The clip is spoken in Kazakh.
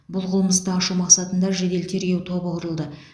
бұл қылмысты ашу мақсатында жедел тергеу тобы құрылды